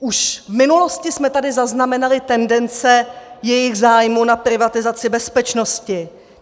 Už v minulosti jsme tady zaznamenali tendence jejich zájmu na privatizaci bezpečnosti.